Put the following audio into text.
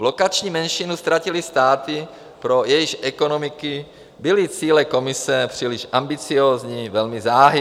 Lokační menšinu ztratily státy, pro jejichž ekonomiky byly cíle Komise příliš ambiciózní, velmi záhy.